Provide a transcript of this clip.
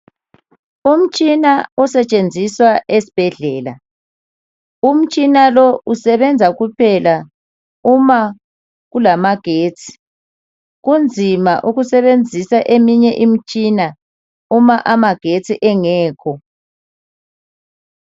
Umtshina osetshenziswa esibhedlela, umtshina lo usebenza kuphela uma kulama getsi kunzima ukusebenzisa eminye imitshina uma amagetsi engekho.